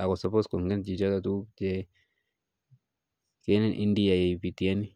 akongen chito noto kiit neamin.